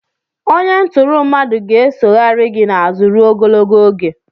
Onye ntụrụ mmadụ ga-esoghari gị n'azụ ruo ogologo oge.